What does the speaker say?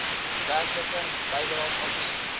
werklike bydraes aangesien